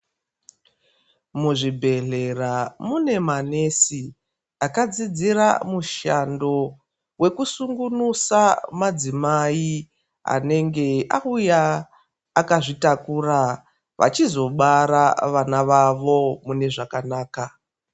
Muzvibhedhlera mune manesi akadzidzira mushando wekusungunusa madzimai anenge auya akazvitakura vachizobara vana vavo munezvakanaka.